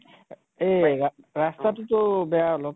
এই ৰাষ্টা তো তো বেয়া অলপ